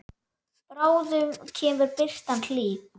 Bráðum kemur birtan hlý.